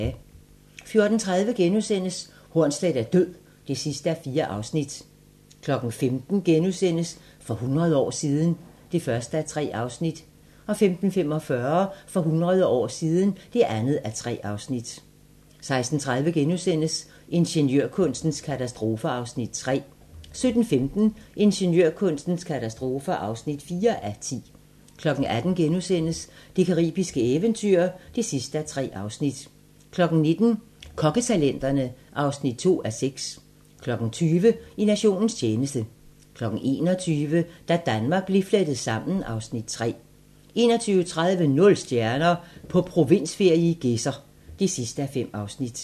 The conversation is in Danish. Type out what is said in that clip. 14:30: Hornsleth er død (4:4)* 15:00: For hundrede år siden ... (1:3)* 15:45: For hundrede år siden (2:3) 16:30: Ingeniørkunstens katastrofer (3:10)* 17:15: Ingeniørkunstens katastrofer (4:10) 18:00: Det caribiske eventyr (3:3)* 19:00: Kokketalenterne (2:6) 20:00: I nationens tjeneste 21:00: Da Danmark blev flettet sammen (Afs. 3) 21:30: Nul stjerner - På provinsferie i Gedser (5:5)